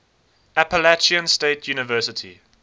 appalachian state university